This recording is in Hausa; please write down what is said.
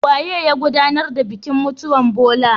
Waye ya godanar da bikin mutuwan Bola?